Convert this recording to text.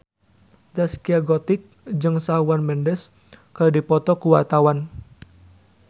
Zaskia Gotik jeung Shawn Mendes keur dipoto ku wartawan